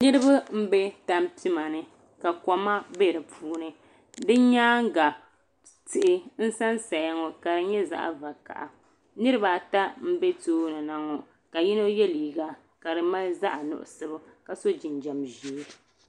Niriba n bɛ tampima ni ka Kom bɛ di puuni di yɛanga tihi n san saya ŋɔ ka di yɛ zaɣi hakaha niriba ata mbɛ tooni na ŋɔ ka yino yiɛ liiga ka di mali zaɣi nuɣiso ka so jinjɛm zɛɛ.